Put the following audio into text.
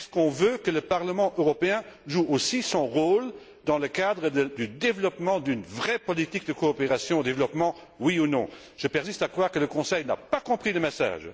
Veut on que le Parlement européen joue aussi son rôle dans le cadre de l'élaboration d'une vraie politique de coopération au développement? Oui ou non? Je persiste à croire que le Conseil n'a pas compris le message.